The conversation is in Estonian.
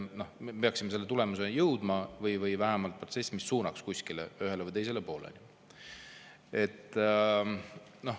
Me peaksime selle tulemuseni jõudma või vähemalt protsessi, mis suunaks kuskile, ühele või teisele poolele.